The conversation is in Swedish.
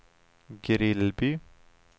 Grillby